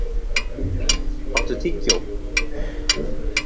Elí, áttu tyggjó?